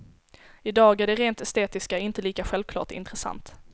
I dag är det rent estetiska inte lika självklart intressant.